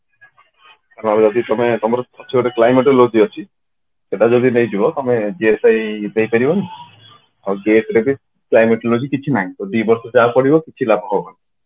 ତମର ଅଛି ଗୋଟେ climatology ଅଛି ସେଇଟା ଯଦି ନେଇଯିବ ତମେ ପାଇଁ ଦେଇପାରିବ ଆଉ GATE ରେ ବି climatology କିଛି ନାହିଁ ତ ଦିବର୍ଷ ଯାହା ପଢିବ କିଛି ଲାଭ ହବନି